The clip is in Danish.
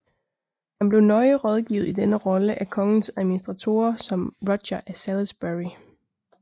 Han blev nøje rådgivet i denne rolle af kongens administratorer som Roger af Salisbury